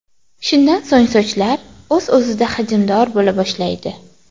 Shundan so‘ng sochlar o‘z-o‘zida hajmdor bo‘la boshlaydi.